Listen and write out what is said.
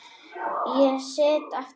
Ég sit aftast.